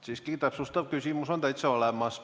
Siiski täpsustav küsimus on täitsa olemas.